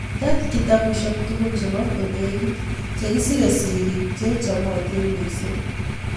Tet kitabushek tugul che ba konegit chikisire sirik che chamatin mising'